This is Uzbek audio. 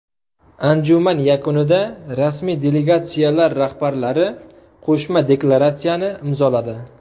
Anjuman yakunida rasmiy delegatsiyalar rahbarlari qo‘shma deklaratsiyani imzoladi.